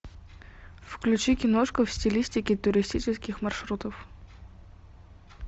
включи киношку в стилистике туристических маршрутов